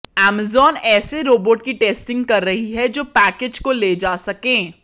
Amazon ऐसे robot की testing कर रही है जो पैकेज को ले जा सकें